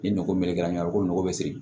Ni nogo melekela ɲɔgɔn na ko nɔgɔ be siri